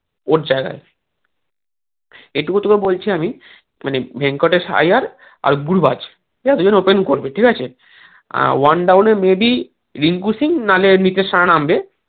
ওর জায়গায় এটুকু তোকে বলছি আমি মানে ভেঙ্কটেশ আইয়ার আর গুরবাজ opening করবে ঠিক আছে আহ one down এ maybe রিঙ্কু সিং নাহলে নীতিশ রানা নামবে